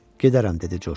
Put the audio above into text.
Gedərəm, dedi Corc.